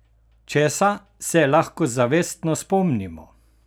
Česa se lahko zavestno spomnimo?